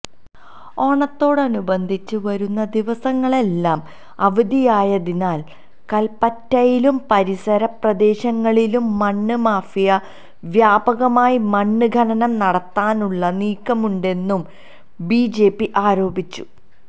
ഓണത്തോടനുബന്ധിച്ച് വരുന്ന ദിവസങ്ങളെല്ലാം അവധിയായതിനാല് കല്പ്പറ്റയിലും പരിസരപ്രദേശങ്ങളിലും മണ്ണ് മാഫിയ വ്യാപകമായി മണ്ണ് ഖനനം നടത്താനുള്ള നീക്കമുണ്ടെന്നും ബിജെപി ആരോപിച്ചു